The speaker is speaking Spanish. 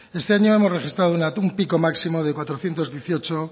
este año hemos registrado un pico máximo de cuatrocientos dieciocho